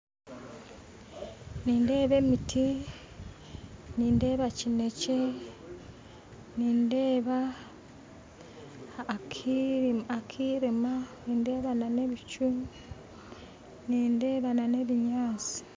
Nindeeba emiti nindeeba kineekye nindeeba akirima nindeeba na n'ebicu nindeeba na n'ebinyaatsi